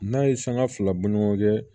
N'a ye sanga fila bɔ ni ɲɔgɔn cɛ